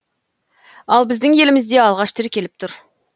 ал біздің елімізде алғаш тіркеліп тұр